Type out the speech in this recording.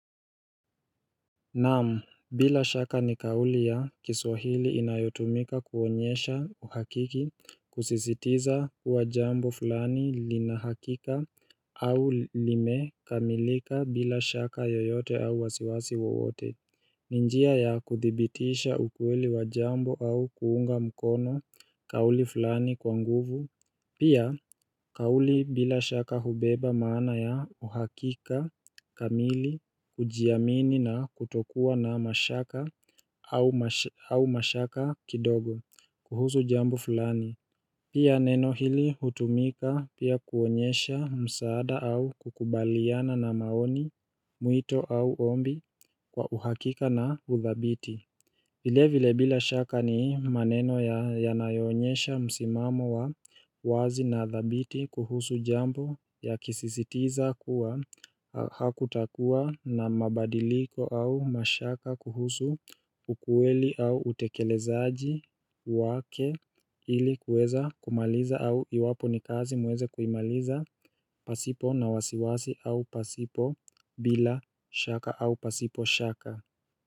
Naam bila shaka ni kauli ya kiswahili inayotumika kuonyesha uhakiki kusisitiza kuwa jambo fulani lina hakika au limekamilika bila shaka yoyote au wasiwasi wowote. Ni njia ya kuthibitisha ukweli wa jambo au kuunga mkono kauli fulani kwa nguvu. Pia kauli bila shaka hubeba maana ya uhakika kamili kujiamini na kutokua na mashaka au mashaka kidogo kuhusu jambo fulani. Pia neno hili hutumika pia kuonyesha msaada au kukubaliana na maoni, mwito au ombi kwa uhakika na uthabiti. Vile vile bila shaka ni maneno yanayonyesha msimamo wa wazi na thabiti kuhusu jambo ya kisisitiza kuwa hakutakua na mabadiliko au mashaka kuhusu ukweli au utekelezaji wake ili kueza kumaliza au iwapo ni kazi mweze kuimaliza pasipo na wasiwasi au pasipo bila shaka au pasipo shaka.